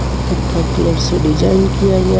पत्थर कलर से डिजाइन किया गया है.